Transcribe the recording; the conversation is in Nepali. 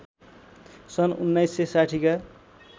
सन् १९६० का